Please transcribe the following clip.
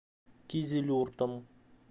кизилюртом